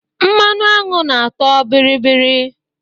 Mmanụ añụ na-atọ bịrịbịrị